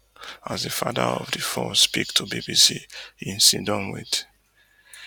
as di father of four speak to bbc hin siddon wit